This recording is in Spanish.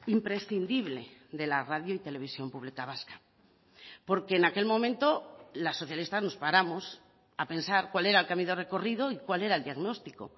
imprescindible de la radio y televisión pública vasca porque en aquel momento las socialistas nos paramos a pensar cuál era el camino recorrido y cuál era el diagnóstico